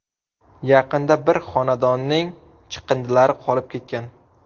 Yaqinda bir xonadonning chiqindilari qolib ketgan.